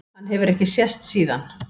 Hann hefur ekki sést síðan.